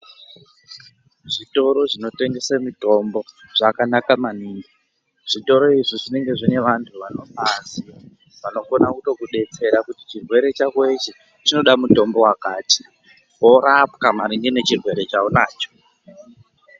Zvitoro zvinotengese mitombo zvakanaka maningi. Zvitoro izvi zvinenge zvinevantu vanorwazi vanokona kutokudetsera kuti chirwere chako ichi chinoda mutombo wakati, worapwa maringe nechirwere chawunacho.